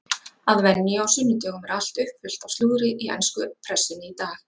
Að venju á sunnudögum er allt uppfullt af slúðri í ensku pressunni í dag.